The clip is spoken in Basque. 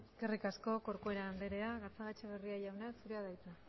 eskerrik asko corcuera andrea gatzagaetxebarria jauna zurea da hitza